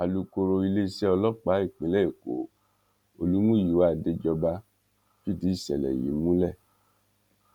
alukoro iléeṣẹ́ ọlọ́pàá ìpínlẹ̀ èkó olúmúyíwá adéjọba fìdí ìṣẹ̀lẹ̀ yìí múlẹ̀